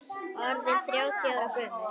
Orðinn þrjátíu ára gömul.